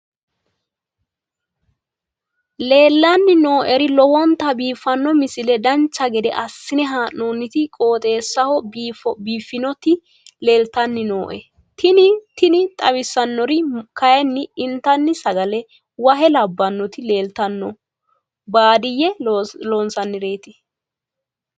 leellanni nooeri lowonta biiffino misile dancha gede assine haa'noonniti qooxeessano biiffinoti leeltanni nooe tini xawissannori kayi intanni sagale wahe labbannoti leeltanno baadiyyete loonsannireeti